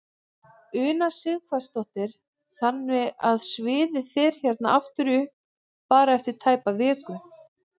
Una Sighvatsdóttir: Þannig að sviðið fer hérna aftur upp bara eftir tæpa viku?